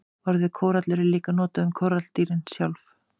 Orðið kórallur er líka notað um kóralladýrin sjálf.